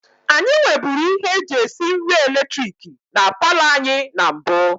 Anyị nweburu ihe eji esi nri eletiriki na paalọ anyị na mbụ